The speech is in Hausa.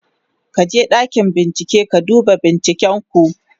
ka je ɗakin bincike ka duba binciken ku!